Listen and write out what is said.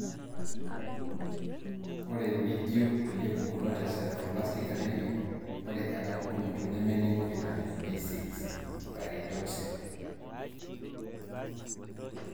ore mijio kulie pukunot e sideroblastic anemia, ore ena pukunoto nemeningu vitamin B6 (pyridoxine).